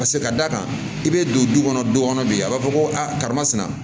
Paseke ka d'a kan i bɛ don du kɔnɔ du kɔnɔ bi a b'a fɔ ko a karamasina